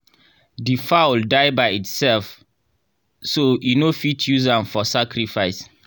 the fowl die by itself so e no fit use am for sacrifice.